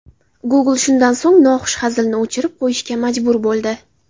Google shundan so‘ng, noxush hazilni o‘chirib qo‘yishga majbur bo‘ldi.